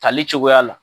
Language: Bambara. Tali cogoya la